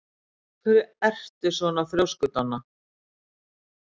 Af hverju ertu svona þrjóskur, Donna?